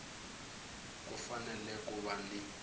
ku fanele ku va ni